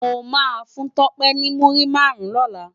Mó má fún Tope ni múri márùn lòlá